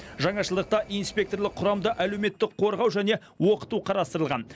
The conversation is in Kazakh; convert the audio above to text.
жаңашылдықта инспекторлық құрамды әлеуметтік қорғау және оқыту қарастырылған